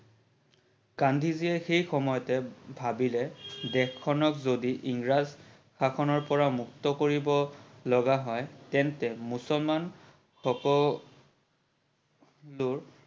গান্ধীজিয়ে সেই সময়তে ভাবিলে যে দেশ খনক যদি ইংৰাজ শাসনৰ পৰা মুক্ত কৰিব লগা হয় তেন্তে মুছলমান সকলোৰ